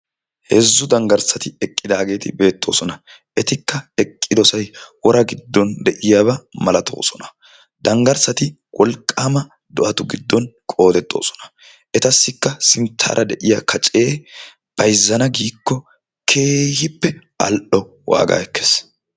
heezzu danggarissati eqqidaageeti eqqidaageeti beettoosona. etikka eqqidoosoay wora giddon de'iyaaba malatoosona. danggarssati wolqqama do'atu qoodetoosona. etassikka sinttara de'iyaa kacee bayzzana giiko keehippe wolqqama waaga ekkees.